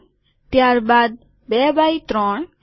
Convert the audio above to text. ત્યારબાદ ૨ એક્સ ૩